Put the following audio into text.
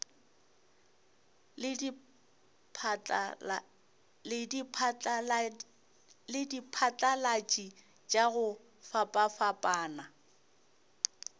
le diphatlalatši tša go fapafapana